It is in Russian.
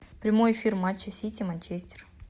прямой эфир матча сити манчестер